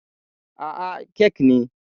Aa, kek ne